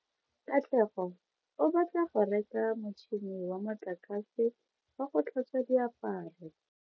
Katlego o batla go reka motšhine wa motlakase wa go tlhatswa diaparo.